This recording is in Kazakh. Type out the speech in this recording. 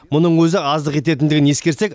мұның өзі аздық ететіндігін ескерсек